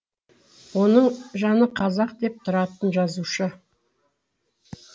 оның жаны қазақ деп тұратын жазушы